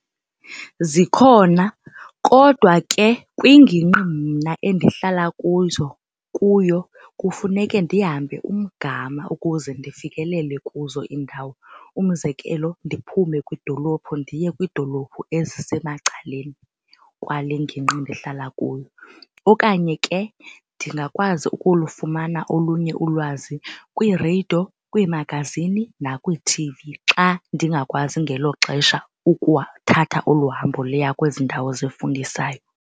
Zikhona kodwa ke kwingingqi mna endihlala kuzo kuyo kufuneke ndihambe umgama ukuze ndifikelele kuzo iindawo. Umzekelo, ndiphume kwidolophu ndiye kwiidolophu ezisemacaleni kwale ngingqi ndihlala kuyo. Okanye ke ndingakwazi ukulufumana olunye ulwazi kwiireyido, kwiimagazini nakwi-T_V xa ndingakwazi ngelo xesha ukuthatha olu hambo liya kwezi ndawo zifundisayo.